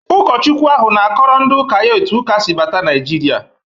Ụkọchukwu ahụ na-akọrọ ndị ụka ya etu Ụkasi bata Nigeria.